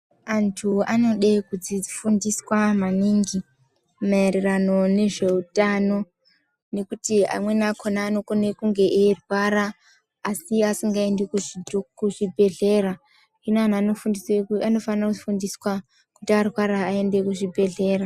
Antu anode kufundiswa maningi mairirano nezveutano nekuti amweni akona kunge eirwara asingaendi kuzvibhehlera hino antu anofane kufundiswe kuti arwara aende kuzvibhehlera.